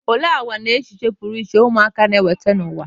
Olee àgwà na echiche pụrụ iche ụmụaka na-eweta n'ụwa?